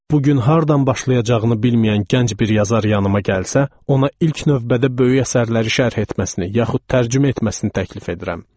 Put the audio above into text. Bu gün hardan başlayacağını bilməyən gənc bir yazar yanıma gəlsə, ona ilk növbədə böyük əsərləri şərh etməsini yaxud tərcümə etməsini təklif edirəm.